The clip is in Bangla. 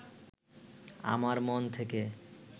আমার মন থেকে